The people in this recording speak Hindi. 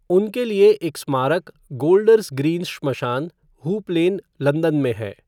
उनके लिए एक स्मारक गोल्डर्स ग्रीन श्मशान, हूप लेन, लंदन में है।